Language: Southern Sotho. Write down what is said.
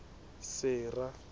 sera